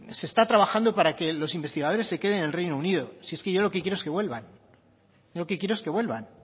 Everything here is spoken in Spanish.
se está trabajando para que los investigadores se queden en el reino unido si es que yo lo que quiero es que vuelvan yo lo que quiero es que vuelvan